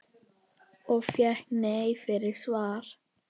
Og fékk nei fyrir svar?